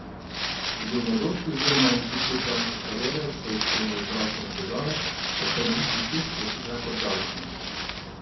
Že v mladosti oziroma na začetku članske kariere so jo spremljale zdravstvene težave, ob ponovitvi teh je vsekakor žalostna.